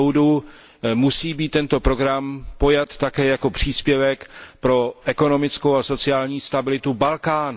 Po mém soudu musí být tento program pojat také jako příspěvek pro ekonomickou a sociální stabilitu Balkánu.